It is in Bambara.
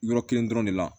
Yɔrɔ kelen dɔrɔn de la